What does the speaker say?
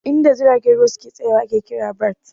In da jiragen ruwa suke tsaya wa ake kira "berths"